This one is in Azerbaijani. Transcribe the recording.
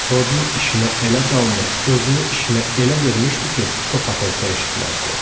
Rodin işinə elə dalmış, özünü işinə elə vermişdi ki, top atılsa eşitməzdi.